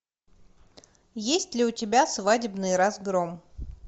есть ли у тебя свадебный разгром